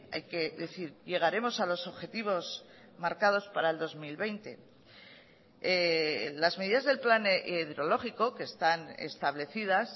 hay que decir llegaremos a los objetivos marcados para el dos mil veinte las medidas del plan hidrológico que están establecidas